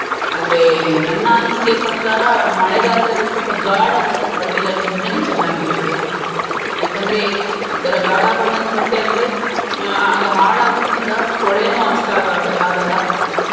ಆದ್ರೆ ನನ್ನ ಅನಿಸಿಕೆಯ ಪ್ರಕಾರ ಮಳೆಗಾಲದಲ್ಲಿ ಒಂದ್ ಸ್ವಲ್ಪ ಘಾಡ ಬಣ್ಣದ್ ಬಟ್ಟೆ ಧರಿಸಿದ್ರೇನೇ ಚನ್ನಾಗಿರುತ್ತೆ, ಏಕಂದ್ರೆ ಇತರ ಘಾಡ ಬಣ್ಣದ್ ಬಟ್ಟೆ ಅಂದ್ರೆ ಅಹ್ ಅದು ಹಾಳಾಗುದಿಲ್ಲ ಕೊಳೇನು ಅಷ್ಟ್ ಆ~ ಆಗಲ್ಲ.